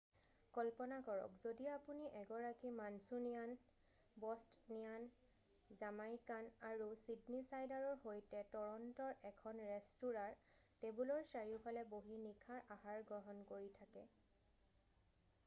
কল্পনা কৰক যদি আপুনি এগৰাকী মাঞ্চুনিয়ান বষ্টনিয়ান জামাইকান আৰু ছিডনীছাইডাৰৰ সৈতে টৰণ্ট'ৰ এখন ৰেষ্টুৰাঁৰ টেবুলৰ চাৰিওফালে বহি নিশাৰ আহাৰ গ্ৰহণ কৰি থাকে